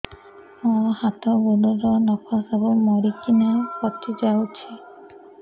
ମୋ ହାତ ଗୋଡର ନଖ ସବୁ ମରିକିନା ପଚି ଯାଉଛି